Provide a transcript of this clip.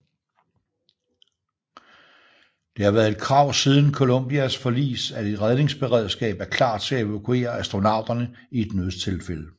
Det har været et krav siden Columbias forlis at et redningsberedskab er klar til at evakuere astronauterne i et nødstilfælde